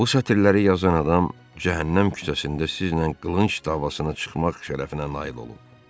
Bu sətirləri yazan adam cəhənnəm küçəsində sizlə qılınc davasına çıxmaq şərəfinə nail olub.